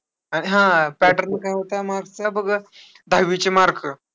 आणि हा, pattern काय होता marks चा बघ, दहावीचे mark.